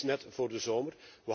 Dat is net voor de zomer.